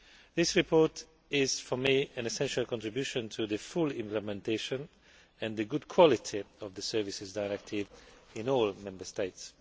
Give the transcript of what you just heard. This report is, for me, an essential contribution to the full implementation and the good quality of the Services Directive in all Member States.